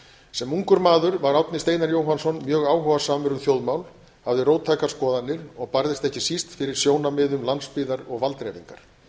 sem ungur maður var árni steinar jóhannsson mjög áhugasamur um þjóðmál hafði róttækar skoðanir og barðist ekki síst fyrir sjónarmiðum landsbyggðar og valddreifingar